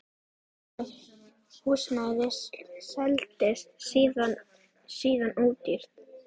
Það húsnæði seldist síðan ódýrt.